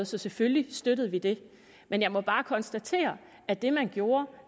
så selvfølgelig støttede vi det men jeg må bare konstatere at det man gjorde